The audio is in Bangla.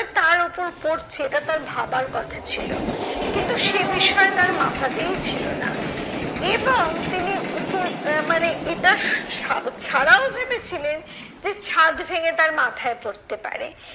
তার ওপর পড়ছে এটা তার ভাবার কথা ছিল কিন্তু সে বিষয়ে তার মাথাতেই ছিল না এবং তিনি উপর আহ মানে এটার ছাড়াও ভেবেছিলেন, যে ছাদ ভেঙে তার মাথায় পড়তে পারে।